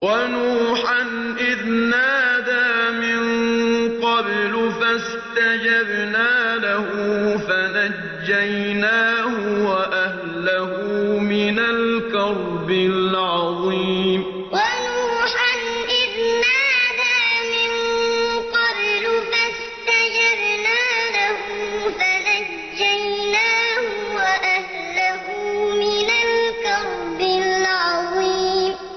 وَنُوحًا إِذْ نَادَىٰ مِن قَبْلُ فَاسْتَجَبْنَا لَهُ فَنَجَّيْنَاهُ وَأَهْلَهُ مِنَ الْكَرْبِ الْعَظِيمِ وَنُوحًا إِذْ نَادَىٰ مِن قَبْلُ فَاسْتَجَبْنَا لَهُ فَنَجَّيْنَاهُ وَأَهْلَهُ مِنَ الْكَرْبِ الْعَظِيمِ